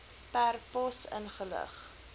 per pos ingelig